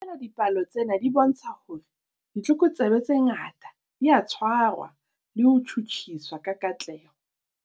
Feela dipalo tsena di bontsha hore ditlokotsebe tse ngata di a tshwarwa le ho tjhutjhiswa ka katleho.